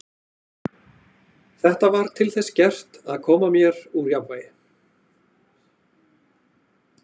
Þetta var til þess gert að koma mér úr jafnvægi.